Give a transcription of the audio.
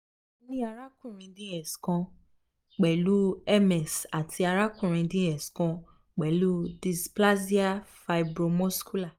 mo ni arakunrin dx kan pẹlu ms ati arabinrin dx kan pẹlu displasia fibromuscular